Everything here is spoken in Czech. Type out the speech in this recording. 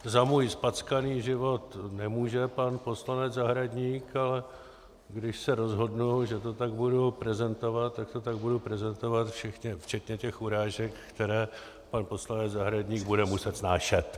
Za můj zpackaný život nemůže pan poslanec Zahradník, ale když se rozhodnu, že to tak budu prezentovat, tak to tak budu prezentovat včetně těch urážek, které pan poslanec Zahradník bude muset snášet.